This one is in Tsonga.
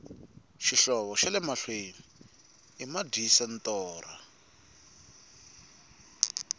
xihlovo xale mahlwei i madyisa torha